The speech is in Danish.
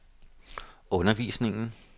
undervisningen